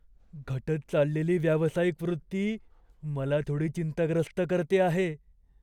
घटत चाललेली व्यावसायिक वृत्ती मला थोडी चिंताग्रस्त करते आहे.